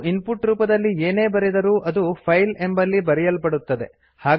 ನಾವು ಇನ್ಪುಟ್ ರೂಪದಲ್ಲಿ ಏನೇ ಬರೆದರೂ ಅದು ಫೈಲ್ ಎಂಬಲ್ಲಿ ಬರೆಯಲ್ಪಡುತ್ತದೆ